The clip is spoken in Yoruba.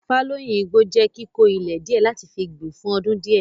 Fálóìn igbó jẹ́ kíkó ilẹ̀ díẹ̀ láti fi gbìn fún ọdún díẹ̀.